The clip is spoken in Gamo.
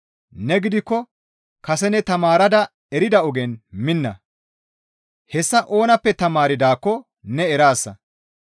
Ne gidikko kase ne tamaarada erida ogen minna; hessa oonappe tamaardaakko ne eraasa.